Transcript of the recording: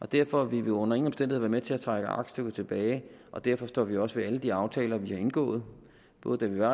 derfor vil vi under ingen omstændigheder være med til at trække aktstykket tilbage og derfor står vi også ved alle de aftaler vi har indgået både da vi var